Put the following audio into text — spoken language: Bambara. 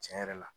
Tiɲɛ yɛrɛ la